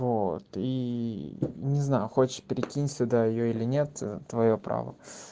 вот и не знаю хочешь прикинь сюда её или нет твоё право